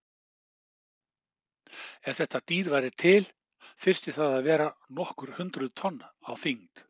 Ef þetta dýr væri til þyrfti það að vera nokkur hundruð tonn á þyngd.